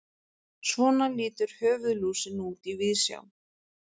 Svona lítur höfuðlúsin út í víðsjá.